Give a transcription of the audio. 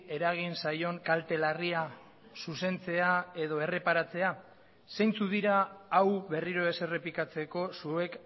eragin zaion kalte larria zuzentzea edo erreparatzea zeintzuk dira hau berriro ez errepikatzeko zuek